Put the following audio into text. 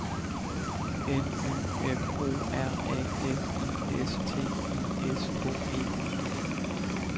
N Y M O R A L I S T I S K E